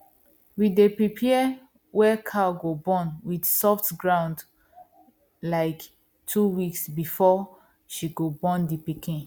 we day prepare where cow go born with soft ground like two weeks before she go born the piken